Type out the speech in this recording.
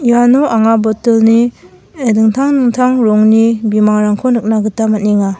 iano anga bottle-ni eh dingtang dingtang rongni bimangrangko nikna gita man·enga.